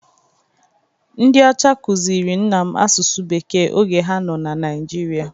Ndị ọcha kụziri nna m asụsụ Bekee oge ha nọ na Naịjirịa.